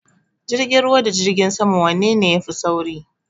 Jirgin ruwa da jirgin sama wanene ya fi sauri?